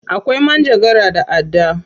Akwai manjagara da adda.